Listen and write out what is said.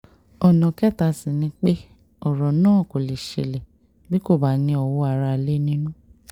ọ̀nà kẹta sì ni pé ọ̀rọ̀ náà kò lè ṣẹlẹ̀ bí kò bá ní owó aráalé nínú